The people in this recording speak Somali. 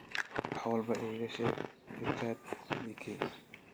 wax walba iiga sheeg Richard leakey